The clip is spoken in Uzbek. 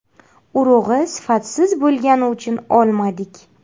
Urug‘i sifatsiz bo‘lgani uchun olmadik.